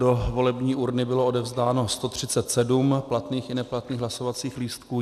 Do volební urny bylo odevzdáno 137 platných i neplatných hlasovacích lístků.